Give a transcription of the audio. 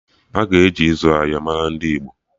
Aka ga-eji izu ahịa mara ndị Igbo